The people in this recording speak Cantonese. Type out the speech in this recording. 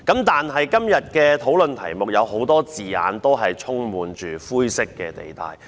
但是，今天辯論的題目有很多字眼均充滿灰色地帶。